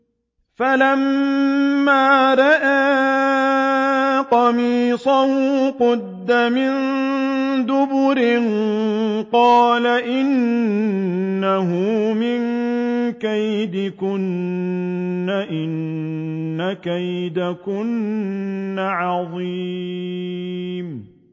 فَلَمَّا رَأَىٰ قَمِيصَهُ قُدَّ مِن دُبُرٍ قَالَ إِنَّهُ مِن كَيْدِكُنَّ ۖ إِنَّ كَيْدَكُنَّ عَظِيمٌ